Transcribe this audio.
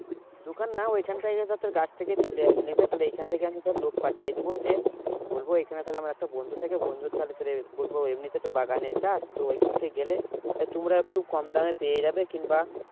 দোকান না ওইখান থেকে ধর তোর গাছ থেকেই তুলে নেবে তাহলে এইখান থেকে আমি ধর লোক পাঠিয়ে দেবো যে বলবো এইখানে তাহলে আমার একটা বন্ধু থাকে বন্ধুর তাহলে তোর বলবো এমনিতে তো বাগানের চাষ তো ওইখানে গেলে তাহলে তোমরা একটু কম দামে পেয়ে যাবে কিংবা